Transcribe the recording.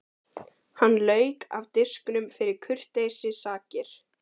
Hann lauk af disknum fyrir kurteisissakir.